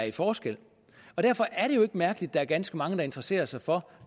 i forskel derfor er det jo ikke mærkeligt at der er ganske mange der interesserer sig for